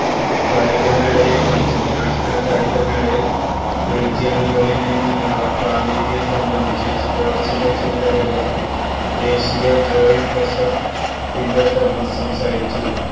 കായികമേളയെക്കുറിച്ചും national കായിക മേളയില് റീജിയണുകളില്നിന്നുമുള്ള പ്രാതിനിധ്യം സംബന്ധിച്ചും സ്പോര്ട്സിന്റെ ചുമതലയുള്ള ദേശീയ ജോയിന്റ് ട്രഷറര് ടിറ്റോ തോമസ് സംസാരിച്ചു